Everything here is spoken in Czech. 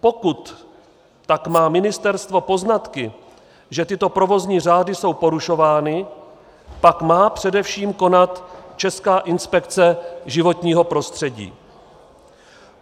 Pokud tak má ministerstvo poznatky, že tyto provozní řády jsou porušovány, pak má především konat Česká inspekce životního prostředí.